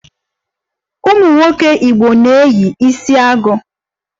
Ụmụ nwoke Igbo na-eyi isiagu